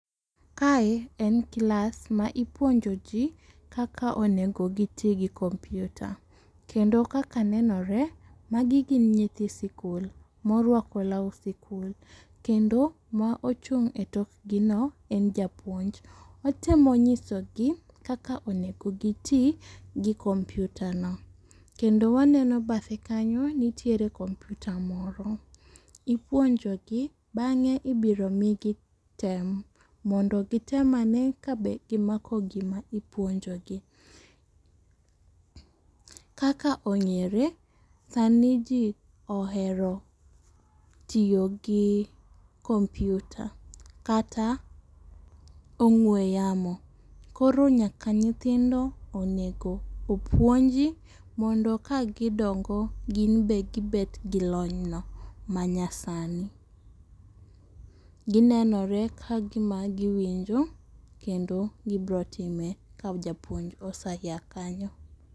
Kae en klas ma ipuonjo ji kaka onego giti gi computer. Kendo kaka nenore magi gin nyithi sikul, ma orwako law sikul. Kendo ma ochung' e tokgino en japuonj. Otemo nyiso gi kaka onego giti gi computer no. Kendo waneno bathe kanyo nitier computer moro. Ipuonjo gi, bang'e ibiro mi gi tem, mondo gitem ane ka be gimako gima ipuonjo gi. Kaka ong'ere, sani ji ohero tiyo gi computer. Kata ong'we yamo. Koro nyaka nyithindo onego opuonji mondo ka gidongo, gin be gibet gi lony no manyasani. Ginenore kagima giwinjo kendo gibiro time ka japuonj oseya kanyo.